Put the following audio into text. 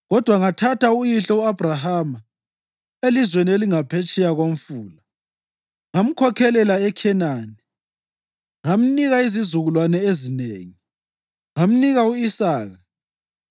Kodwa ngathatha uyihlo u-Abhrahama elizweni elingaphetsheya koMfula ngamkhokhelela eKhenani ngamnika izizukulwane ezinengi. Ngamnika u-Isaka,